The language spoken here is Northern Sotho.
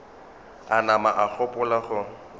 a nama a gopola go